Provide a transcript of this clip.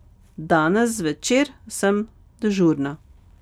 Danes zvečer sem dežurna.